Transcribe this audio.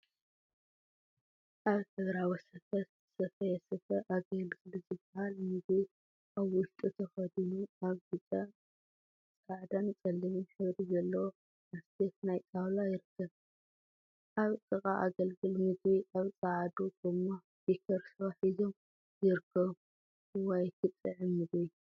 አብ ሕብራዊ ስፈ ዝተሰፈየ ስፈ አገልግል ዝበሃል ምግቢ አብ ዉሽጡ ተከዲኑ አብ ብጨ፣ ፃዕዳን ፀሊምን ሕብሪ ዘለዎ ላስቲክ ናይ ጣውላ ይርከብ፡፡ አብ ጥቃ አገልግል ምግቢ አብ ፃዓዱ ጎማ ቢከር ስዋ ሒዞም ይርከቡ፡፡ እዋይ ክጥዕም ምግቢ!